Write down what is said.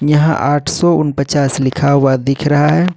यहां आठ सौ उन पचास लिखा हुआ दिख रहा है।